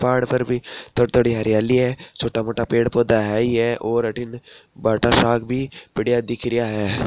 पहाड़ पर भी थोड़ी थोड़ी हरियाली है छोटा मोटा पेड़ पोधे है ही और अठिन बाटा दिख रहिया है।